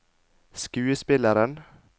skuespilleren